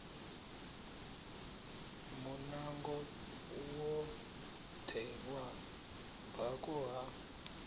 munango woṱhe wa bako ha